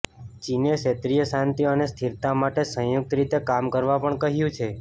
ચીને ક્ષેત્રીય શાંતિ અને સ્થિરતા માટે સંયુક્ત રીતે કામ કરવા પણ કહ્યું છે